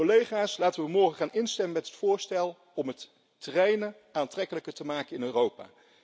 Collega's, laten we morgen instemmen met het voorstel om het treinen aantrekkelijker te maken in Europa.